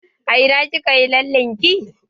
A ina kika yi lallen ki?